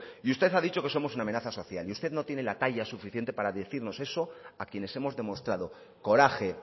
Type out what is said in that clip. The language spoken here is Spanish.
y usted ha dicho que somos una amenaza social y usted no tiene la talla suficiente para decirnos eso a quienes hemos demostrado coraje